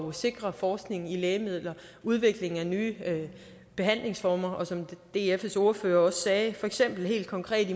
at sikre forskning i lægemidler udvikling af nye behandlingsformer og som dfs ordfører også sagde for eksempel helt konkret